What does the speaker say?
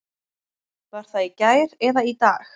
Var það í gær eða í dag?